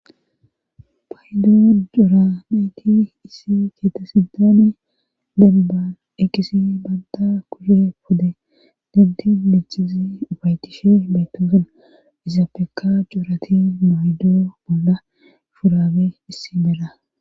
paydo dora mayti issi keete sidani denban eqisi banda kushe pode denti michizi ufaytishe beytosan izafeka jorati maydoo bolla furabe issi bera